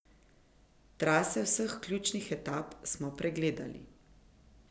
Trase vseh ključnih etap so pregledali.